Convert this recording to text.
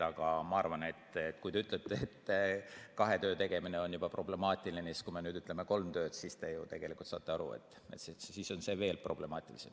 Aga kui te ütlete, et kahe töö tegemine on problemaatiline, siis te ju saate aru, et kui me nüüd lubaksime kolme tööd, siis oleks see veel problemaatilisem.